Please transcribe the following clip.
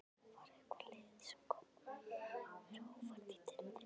Var eitthvað lið sem kom þér á óvart í deildinni?